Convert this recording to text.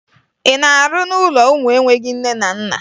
Ị na-arụ n'ụlọ ụmụ enweghi nne na nna?